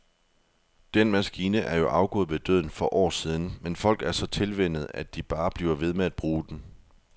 Den maskine er jo afgået ved døden for år siden, men folk er så tilvænnet, at de bare bliver ved med at bruge den.